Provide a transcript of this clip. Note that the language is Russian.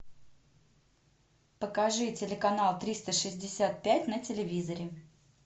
покажи телеканал триста шестьдесят пять на телевизоре